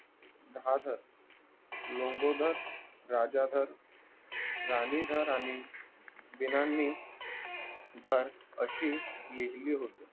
राहादर लंबोदर राजाधर रानीधर आणि विनानिधर अशी लिहिली होती